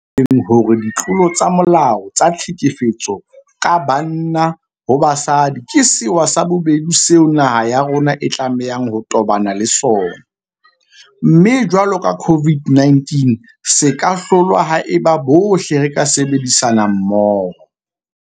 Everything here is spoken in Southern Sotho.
Re ile ra tjho nakong e fetileng hore ditlolo tsa molao tsa tlhekefetso ka banna ho basadi ke sewa sa bobedi seo naha ya rona e tlamehang ho tobana le sona, mme jwalo ka COVID-19 se ka hlolwa haeba bohle re ka sebedisana mmoho.